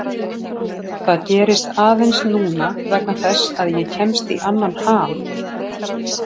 Það gerist aðeins núna vegna þess að ég kemst í annan ham.